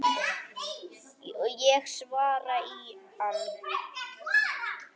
Ég svara í ann